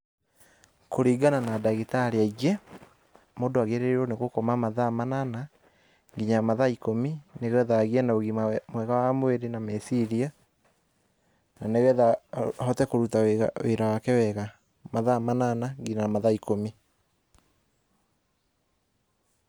kũringana na ndagĩtarĩ aingĩ, mũndũ agĩrĩirwo nĩ gũkoma mathaa manana nginya mathaa ikũmi, nĩgetha agĩe na ugima mwega wa mwĩrĩ na meciria, na nĩ getha ahote kũruta wĩra wake wega. Mathaa manana ginya mathaa ikũmi.